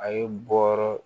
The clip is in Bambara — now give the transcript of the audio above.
A ye bɔ wɔɔrɔ